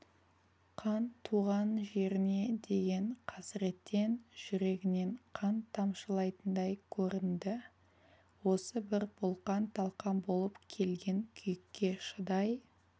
қан туған жеріне деген қасіреттен жүрегінен қан тамшылайтындай көрінді осы бір бұлқан-талқан болып келген күйікке шыдай